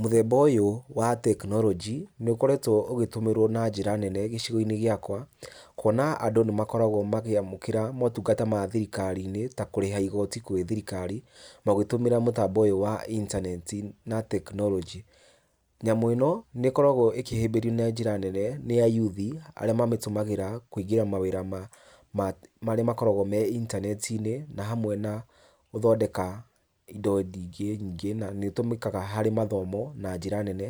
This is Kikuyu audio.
Mũthemba ũyũ wa technology, nĩũkoretwo ũgĩtũmĩrwo na njĩra nene gĩcigo-inĩ gĩakwa, kũona andũ nĩmakoragwo makĩamũkĩra maũtungata ma thirikari-inĩ ta kũrĩha igoti gwĩ thirirkari, magĩtũmĩra mũtambo ũyũ wa intaneti na technology. Nyamũ ĩno, nĩ ĩkoragwo ĩkĩhĩmbĩrio na njĩra nene nĩ ayuthi, arĩa mamĩtũmagĩra kũingĩra mawĩra marĩa makoragwo me intaneti-inĩ, na hamwe na gũthondeka indo nyingĩ nyingĩ, na nĩũtũmĩkaga harĩ mathomo na njĩra nene,